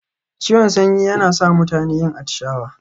Ciwon sanyi yana sa mutane yin atishawa.